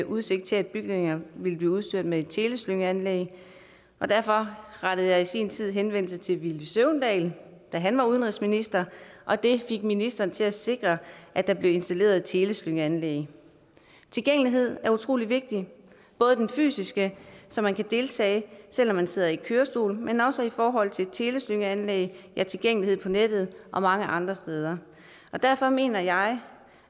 udsigt til at bygningen ville blive udstyret med et teleslyngeanlæg og derfor rettede jeg i sin tid henvendelse til villy søvndal da han var udenrigsminister og det fik ministeren til at sikre at der blev installeret et teleslyngeanlæg tilgængelighed er utrolig vigtigt både den fysiske så man kan deltage selv om man sidder i kørestol men også i forhold til teleslyngeanlæg tilgængelighed på nettet og mange andre steder derfor mener jeg